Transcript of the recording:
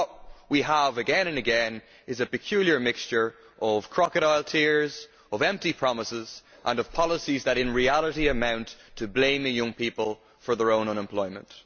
So what we have, again and again, is a peculiar mixture of crocodile tears, empty promises and policies that in reality amount to blaming young people for their own unemployment.